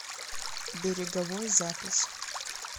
береговой запись